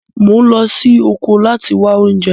Mò ń lọ sí oko láti wá oúnjẹ